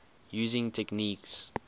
using techniques